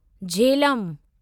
Jhelum